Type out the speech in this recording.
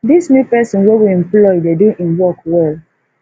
dis new person we employ dey do im work well